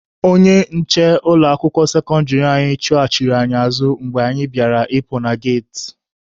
Onye nche ụlọ akwụkwọ sekọndịrị anyị chụghachiri anyị azụ mgbe anyị bịara ịpụ na geti.